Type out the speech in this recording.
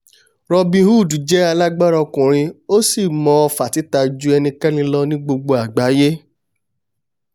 robin hood jẹ́ alágbára ọkùnrin ó sì mọ ọ̀fà títa ju enikẹ́ni lọ ní gbogbo àgbáiyé!